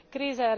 kriza